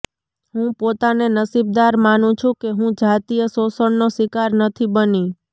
હું પોતાને નસીબદાર માનું છું કે હું જાતિય શોષણનો શિકાર નથી બની